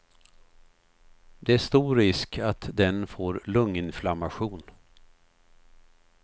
Det är stor risk att den får lunginflammation.